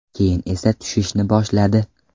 Keyin esa tushishni boshladi.